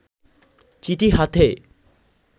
চিঠি হাতে